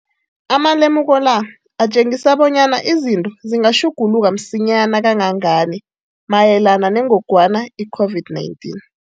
Amalemuko la atjengisa bonyana izinto zingatjhuguluka msinyana kangangani mayelana nengogwana i-COVID-19.